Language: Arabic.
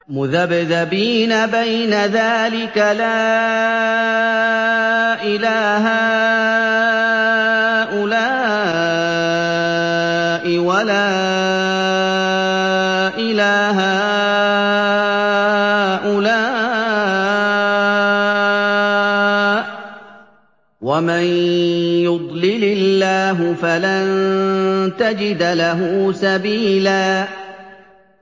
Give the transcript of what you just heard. مُّذَبْذَبِينَ بَيْنَ ذَٰلِكَ لَا إِلَىٰ هَٰؤُلَاءِ وَلَا إِلَىٰ هَٰؤُلَاءِ ۚ وَمَن يُضْلِلِ اللَّهُ فَلَن تَجِدَ لَهُ سَبِيلًا